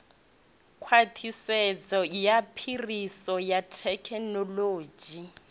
khwaṱhisedzo ya phiriso ya thekinolodzhi